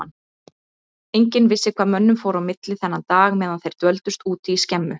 Enginn vissi hvað mönnunum fór á milli þennan dag meðan þeir dvöldust úti í skemmu.